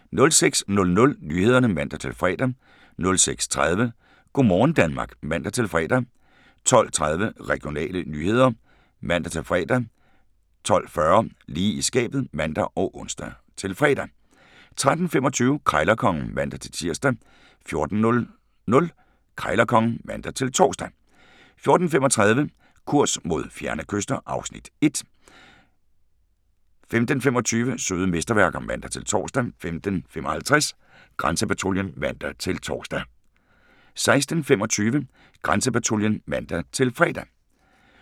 06:00: Nyhederne (man-fre) 06:30: Go' morgen Danmark (man-fre) 12:30: Regionale nyheder (man-fre) 12:40: Lige i skabet (man og ons-fre) 13:25: Krejlerkongen (man-tir) 14:00: Krejlerkongen (man-tor) 14:35: Kurs mod fjerne kyster (Afs. 1) 15:25: Søde mesterværker (man-tor) 15:55: Grænsepatruljen (man-tor) 16:25: Grænsepatruljen (man-fre)